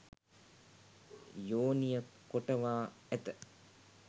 යෝනිය කොටවා ඇත